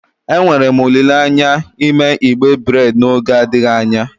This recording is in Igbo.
Enwere m olile anya ime igbe breid n'oge adịghị anya.